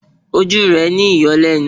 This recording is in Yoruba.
Ojú rẹ̀ ń yọ́ lẹ́nu